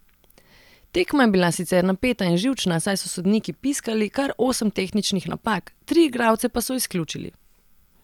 Tekma je bila sicer napeta in živčna, saj so sodniki piskali kar osem tehničnih napak, tri igralce pa so izključili.